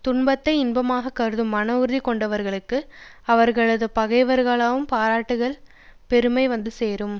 துன்பத்தை இன்பமாக கருதும் மனஉறுதி கொண்டவர்களுக்கு அவர்களது பகைவர்களும் பாராட்டுகிற பெருமை வந்து சேரும்